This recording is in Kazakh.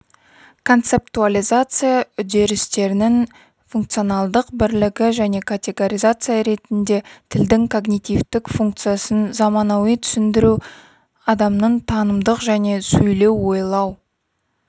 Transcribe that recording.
концептуализация үдерістерінің функционалдық бірлігі және категоризация ретінде тілдің когнитивтік функциясын заманауи түсіндіру адамның танымдық және сөйлеу-ойлау